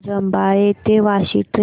रबाळे ते वाशी ट्रेन